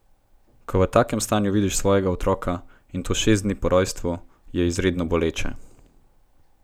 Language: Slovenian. Ko v takem stanju vidiš svojega otroka, in to šest dni po rojstvu, je izredno boleče.